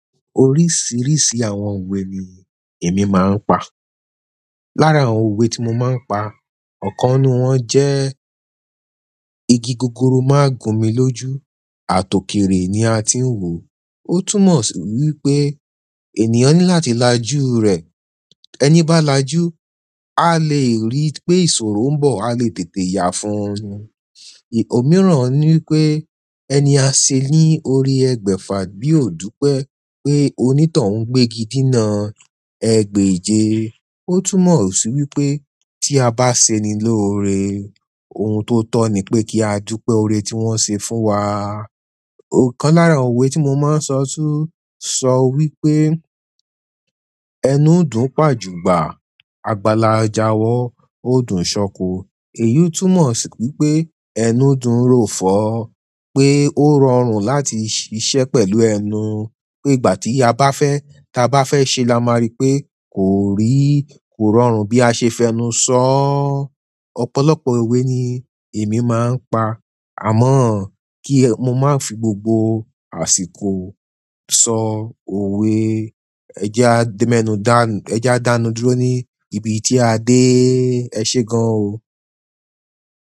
Oríṣiríṣi àwọn owe ni emi ma n pa lára àwọn òwe tí mo máa ń pa, ọ̀kan nínú wọn jẹ́, "Igi gogoro máa ń gún mi lójú, àtòkèrè ni a ti ń wò." Ó túmọ̀ sí wípé ènìyàn ní láti lajú rẹ̀. Ẹni bá lajú, a lè rí pé ìṣòro ń bọ̀, a lè tètè yà fún un. Òmíràn ní pé, "Ẹni a ṣe ní orí ẹgbẹ́ fàbí ò dúpẹ́ pé onítòhún gbégi dínà ẹgbẹ́ ìje." Ó tún mọ̀ sí wípé tí a bá ṣe ni lóore, ohun tó tọ́ ni pé kí á dúpẹ́ ọ̀rẹ́ tí wọ́n ṣe fún wa. Òkan lára òwe tí mo máa ń sọ tún sọ wípé, "Ẹnu dùn pàjùbà, àgbàlá jawọ, ó dùn ṣọko." Èyí ó túmọ̀ sí wípé ẹnu dùn ròfọ́, pé ó rọrùn láti ṣiṣẹ́ pẹ̀lú ẹnu. Pé ìgbà tí a bá fẹ́, ta bá fẹ́ ṣe la máa rí pé kò rí, kò rọrùn bí a ṣe fẹnu sọ. Ọ̀pọ̀lọpọ̀ òwe ni èmi máa ń pa, àmọ́ kí mo máa fi gbogbo àsìkò sọ òwe. Ẹjẹ́ a dánuduro ní ibi tí a dé. Ẹ ṣe gan o.